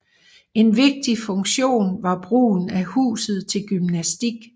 En vigtig funktion var brugen af huset til gymnastik